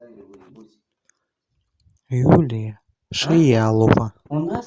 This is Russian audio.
юлия шиялова